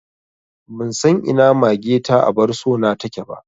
Ban san a ina mage ta abar so na take ba